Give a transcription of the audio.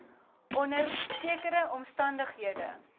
onder sekere omstandighede